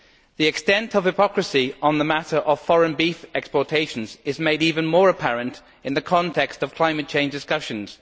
The extent of hypocrisy on the matter of foreign beef exportations is made even more apparent in the context of climate change discussions.